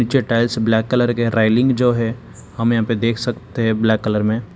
जे tiles black colour के railing जो है हम यहां पे देख सकते हैं ब्लैक कलर में।